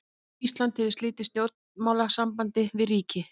Ísland hefur slitið stjórnmálasambandi við ríki.